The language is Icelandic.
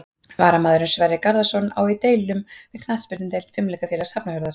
Varnarmaðurinn Sverrir Garðarsson á í deilum við knattspyrnudeild Fimleikafélags Hafnarfjarðar.